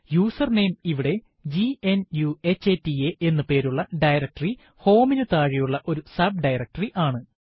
username ഇവിടെ ഗ്നുഹത എന്ന് പേരുള്ള ഡയറക്ടറി home നു താഴെയുള്ള ഒരു sub ഡയറക്ടറി ആണ്